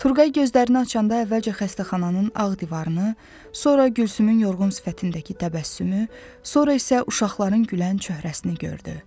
Turqay gözlərini açanda əvvəlcə xəstəxananın ağ divarını, sonra Gülsümün yorğun sifətindəki təbəssümü, sonra isə uşaqların gülən çöhrəsini gördü.